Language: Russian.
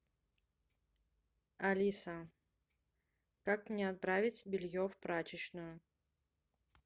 алиса как мне отправить белье в прачечную